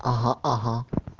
ага ага